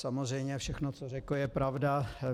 Samozřejmě všechno, co řekl, je pravda.